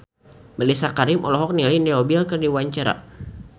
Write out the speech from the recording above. Mellisa Karim olohok ningali Leo Bill keur diwawancara